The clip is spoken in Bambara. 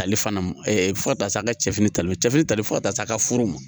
Ale fana ma fo ka taa se a ka cɛfini tali cɛfini ta fo ka taa se a ka furu ma